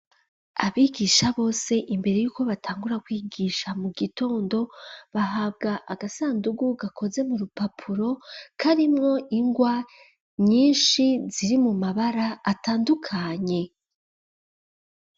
Abigisha bose imbere yuko batangura kwigisha mu gitondo, bahabwa agasandugu gakoze mu rupapuro karimwo ingwa nyinshi ziri mu mabara atandukanye.